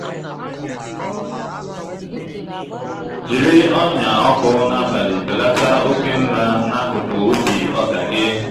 jiri ọnyà ọkụ n'abalị belata oke nla n'akụkụ ubi ọka gị.